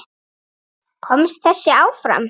Komst þessi áfram?